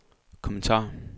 kommentar